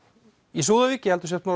í Súðavík